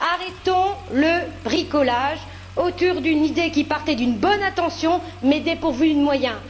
Arrêtons le bricolage autour d'une idée qui partait d'une bonne intention mais est dépourvue de moyens.